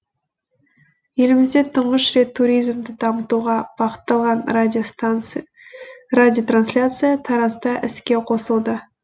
елімізде тұңғыш рет туризмді дамытуға бағытталған радиотрансляция таразда іске қосылды